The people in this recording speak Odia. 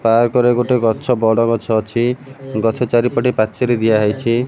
ପାର୍କ ରେ ଗୋଟେ ଗଛ ବଡ ଗଛ ଅଛି ଗଛ ଚାରିପଟେ ପାଚେରି ଦିଆହୋଇଛି।